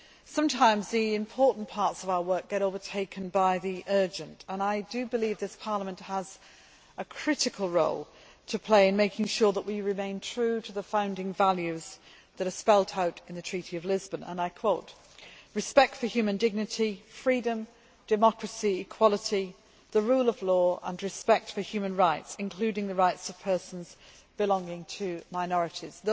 Sometimes, the important parts of our work get overtaken by the urgent and I do believe this Parliament has a critical role to play in making sure that we remain true to the founding values that are spelt out in the Treaty of Lisbon and I quote, respect for human dignity, freedom, democracy, equality, the rule of law and respect for human rights, including the rights of persons belonging to minorities'.